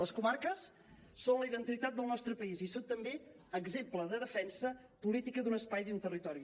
les comarques són la identitat del nostre país i són també exemple de defensa política d’un espai i d’un territori